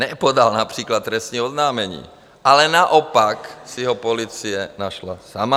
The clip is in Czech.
Nepodal například trestní oznámení, ale naopak si ho policie našla sama.